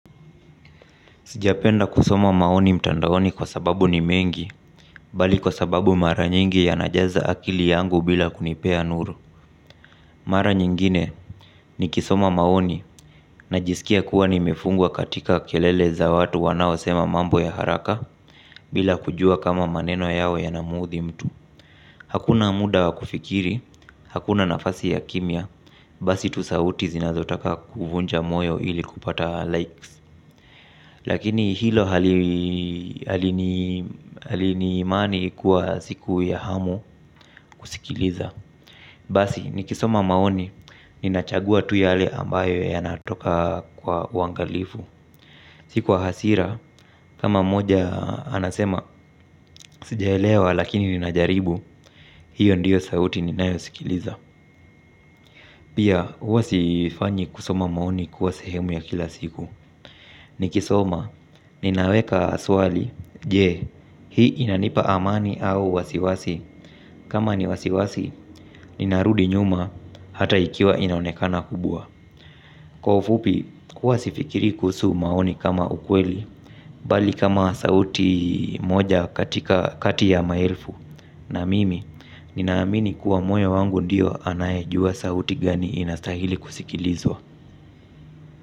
Sijapenda kusoma maoni mtandaoni kwa sababu ni mengi, bali kwa sababu mara nyingi yanajaza akili yangu bila kunipea nuru. Mara nyingine nikisoma maoni na jisikia kuwa nimefungwa katika kelele za watu wanao sema mambo ya haraka bila kujuwa kama maneno yao ya namuudhi mtu. Hakuna muda wa kufikiri, hakuna nafasi ya kimya, basi tu sauti zinazotaka kuvunja moyo ili kupata likes. Lakini hilo hali ni imani kuwa siku ya hamu kusikiliza. Basi, nikisoma maoni, ninachagua tu yale ambayo yanatoka kwa uwangalifu. Si kwa hasira, kama mmoja anasema, sijaelewa lakini ninajaribu, hiyo ndiyo sauti ninayo sikiliza. Pia, huwa sifanyi kusoma maoni kuwa sehemu ya kila siku. Nikisoma, ninaweka swali, je, hii inanipa amani au wasiwasi. Kama ni wasiwasi, ninarudi nyuma hata ikiwa inaonekana kubwa. Kwa ufupi, huwa sifikirii kuhusu maoni kama ukweli. Bali kama sauti moja katika, kati ya maelfu. Naamini, ninaamini kuwa moyo wangu ndiyo anaye jua sauti gani inastahili kusikilizwa.